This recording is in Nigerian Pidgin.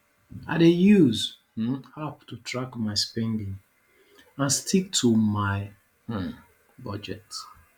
i dey use um app to track my spending and stick to my um budget